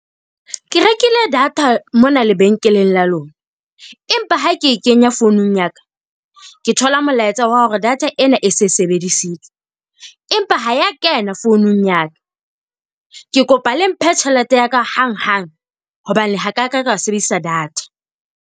Ke rekile data mona lebenkeleng la lona, empa ha ke e kenya founung ya ka, ke thola molaetsa wa hore data ena e se sebedisitswe. Empa ha e a kena founung ya ka. Ke kopa le mphe tjhelete ya ka hanghang hobane ha kaka ka sebedisa data.